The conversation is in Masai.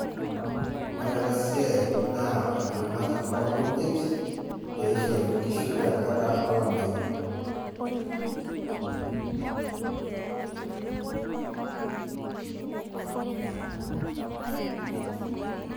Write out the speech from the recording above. Ore ena siai naa olchumati loo nkujit, pee ishori inkishu tenkata olameyu.